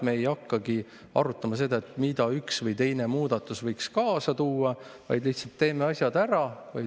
Me ei hakka arutama seda, mida üks või teine muudatus võib kaasa tuua, vaid teeme asjad lihtsalt ära.